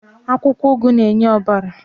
Pumpkin leaf gives blood to the body.